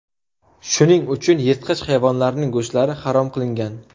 Shuning uchun yirtqich hayvonlarning go‘shtlari harom qilingan.